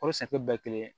O sari bɛɛ kelen